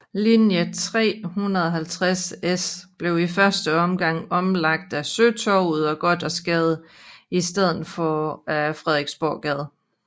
Linje 350S blev i første omgang omlagt ad Søtorvet og Gothersgade i stedet for ad Frederiksborggade